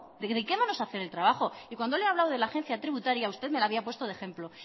dediquémonos a hacer el trabajo y cuando le he hablado de la agencia tributaria usted me lo había puesto de ejemplo